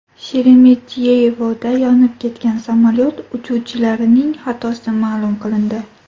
Sheremetyevoda yonib ketgan samolyot uchuvchilarining xatosi ma’lum qilindi.